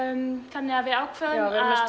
þannig að við ákváðum að